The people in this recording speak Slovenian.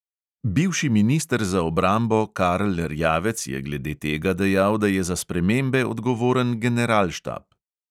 Bivši minister za obrambo karl erjavec je glede tega dejal, da je za spremembe odgovoren generalštab.